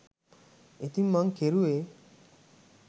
ඉතිං මං කෙරුවේ